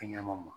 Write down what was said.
Fɛn ɲɛnama ma